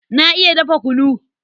Na iya dafa kunu.